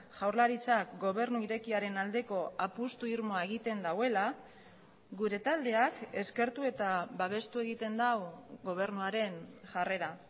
jaurlaritzak gobernu irekiaren aldeko apustu irmoa egiten duela gure taldeak eskertu eta babestu egiten du gobernuaren jarrera